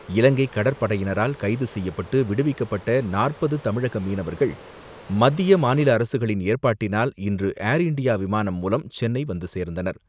இலங்கை கடற்படையினரால் கைது செய்யப்பட்டு, விடுவிக்கப்பட்ட நாற்பது தமிழக மீனவர்கள், மத்திய மாநில அரசுகளின் ஏற்பாட்டினால், இன்று ஏர் இன்டியா விமானம் மூலம் சென்னை வந்து சேர்ந்தனர்.